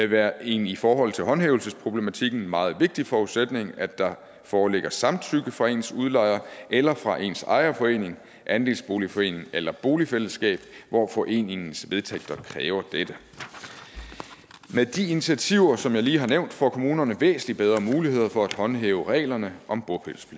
være en i forhold til håndhævelsesproblematikken meget vigtig forudsætning at der foreligger samtykke fra ens udlejer eller fra ens ejerforening andelsboligforening eller boligfællesskab hvor foreningens vedtægter kræver dette med de initiativer som jeg lige har nævnt får kommunerne væsentlig bedre muligheder for at håndhæve reglerne om